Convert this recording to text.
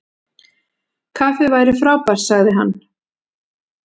Kaffi væri frábært- sagði hann.